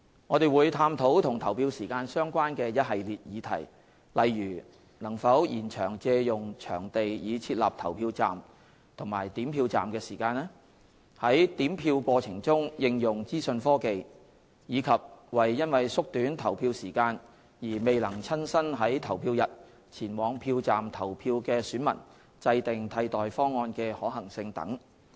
我們會探討與投票時間相關的一系列議題，例如能否延長借用場地以設立投票站及點票站的時間、在點票過程中應用資訊科技，以及為因縮短投票時間而未能親身在投票日前往票站投票的選民制訂替代方案的可行性等。